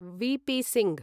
VP. Singh